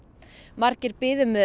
margir biðu með